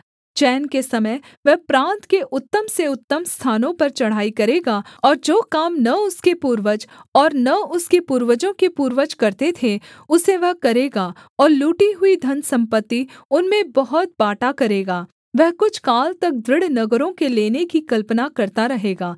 चैन के समय वह प्रान्त के उत्तम से उत्तम स्थानों पर चढ़ाई करेगा और जो काम न उसके पूर्वज और न उसके पूर्वजों के पूर्वज करते थे उसे वह करेगा और लूटी हुई धनसम्पत्ति उनमें बहुत बाँटा करेगा वह कुछ काल तक दृढ़ नगरों के लेने की कल्पना करता रहेगा